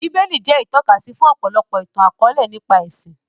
Bíbélì jẹ́ ìtọ́kasí fún ọ̀pọ̀lọpọ̀ ìtàn akọ̀ọ̀lẹ nípa ẹṣin